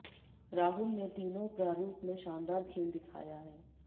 राहुल ने तीनों प्रारूप में शानदार खेल दिखाया है